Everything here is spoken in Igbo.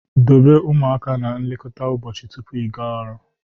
Dobe ụmụaka na nlekọta ụbọchị tupu ịga ọrụ